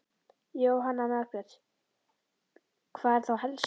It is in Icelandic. Jóhanna Margrét: Hvað er þá helst?